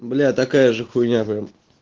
бля такая же хуйня прям